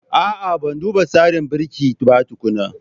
A'a, Ban duba tsarin birki ba tukuna